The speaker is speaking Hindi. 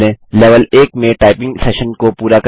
लेवल 1 में टाइपिंग सेशन को पूरा करें